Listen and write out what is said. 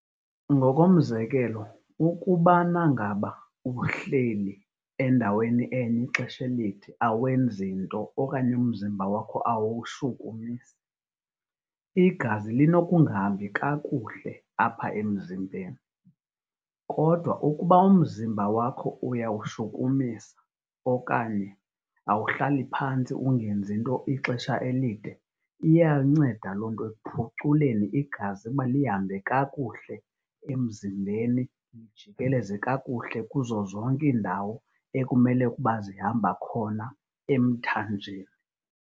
Ngokomzekelo, ukubana ngaba uhleli endaweni enye ixesha elide awenzi nto okanye umzimba wakho awuwushukumisi, iazi linokungahambi kakuhle apha emzimbeni. Kodwa ukuba umzimba wakho uyawushukumisa okanye awuhlali phantsi ungenzi nto ixesha elide, iyanceda loo nto ekuphuculeni igazi ukuba lihambe kakuhle emzimbeni, lijikeleze kakuhle kuzo zonke iindawo ekumele ukuba zihamba khona emthanjeni.